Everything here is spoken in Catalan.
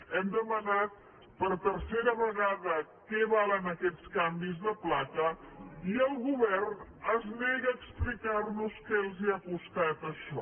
hem demanat per tercera vegada què valen aquests canvis de placa i el govern es nega a explicar nos què els ha costat això